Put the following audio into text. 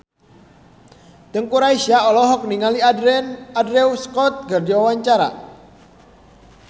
Teuku Rassya olohok ningali Andrew Scott keur diwawancara